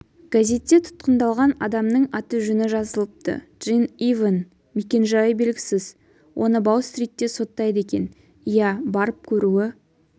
газетте тұтқындалған адамның аты-жөні жазылыпты джн ивэн мекен жайы белгісіз оны бау-стритте соттайды екен иә барып көруі